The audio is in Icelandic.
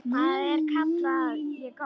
Það kalla ég gott.